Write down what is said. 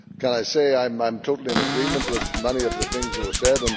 I am totally in agreement with many of the things that were said.